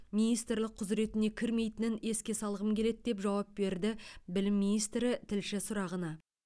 министрлік құзыретіне кірмейтінін еске салғым келеді деп жауап берді білім министрі тілші сұрағына